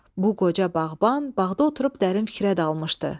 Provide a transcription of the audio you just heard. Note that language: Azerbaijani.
Bu qoca bağban bağda oturub dərin fikrə dalmışdı.